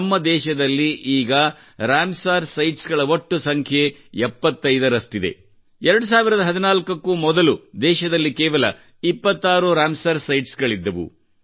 ನಮ್ಮ ದೇಶದಲ್ಲಿ ಈಗ ರಾಮಸರ್ ಸೈಟ್ಸ್ ಗಳ ಒಟ್ಟು ಸಂಖ್ಯೆ 75 ರಷ್ಟಿದೆ 2014 ಕ್ಕೂ ಮೊದಲು ದೇಶದಲ್ಲಿ ಕೇವಲ 26 ರಾಮಸರ್ ಸೈಟ್ಸ್ ಇದ್ದವು